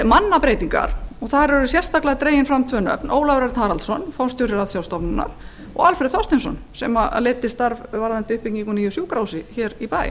mannabreytingar og eru þar sérstaklega nefndir tveir menn ólafur örn haraldsson forstjóri ratsjárstofnunar og alfreð þorsteinsson sem leiddi uppbyggingarstarf nýs sjúkrahúss hér í bæ